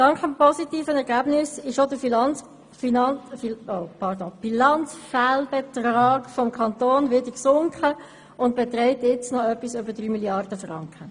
Dank des positiven Ergebnisses ist auch der Bilanzfehlbetrag des Kantons wieder gesunken und beträgt jetzt noch etwas mehr als 3 Mrd. Franken.